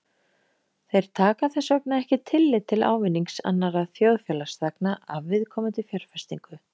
Þeir taka þess vegna ekki tillit til ávinnings annarra þjóðfélagsþegna af viðkomandi fjárfestingu.